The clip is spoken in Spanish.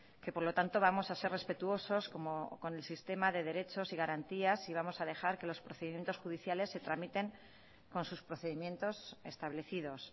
que por lo tanto vamos a ser respetuosos con el sistema de derechos y garantías y vamos a dejar que los procedimientos judiciales se tramiten con sus procedimientos establecidos